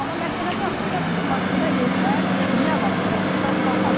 Amma məsələ burasındadır ki, Bakıda evlər nə vaxt soruşsan bahadır.